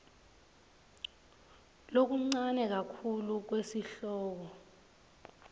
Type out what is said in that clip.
lokuncane kakhulu kwesihloko